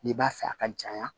N'i b'a fɛ a ka janya